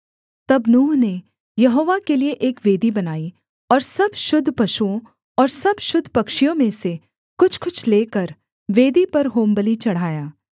तब नूह ने यहोवा के लिये एक वेदी बनाई और सब शुद्ध पशुओं और सब शुद्ध पक्षियों में से कुछ कुछ लेकर वेदी पर होमबलि चढ़ाया